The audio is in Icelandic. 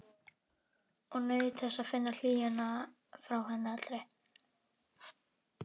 Og naut þess að finna hlýjuna frá henni allri.